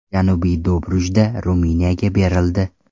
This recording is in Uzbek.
Janubiy Dobrudja Ruminiyaga berildi.